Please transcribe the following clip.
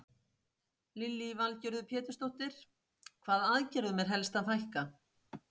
Lillý Valgerður Pétursdóttir: Hvaða aðgerðum er helst að fækka?